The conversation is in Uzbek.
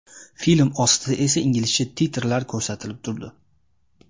Film ostida esa inglizcha titrlar ko‘rsatilib turdi.